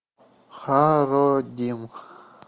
хародим